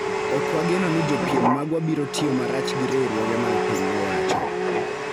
"Ok wageno ni jopiem magwa biro tiyo marach gi riwruoge mag piny owacho